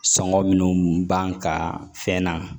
Sɔngɔ minnu b'an kan fɛn na